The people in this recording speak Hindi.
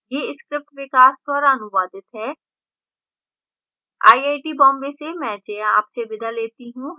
यह script विकास द्वारा अनुवादित है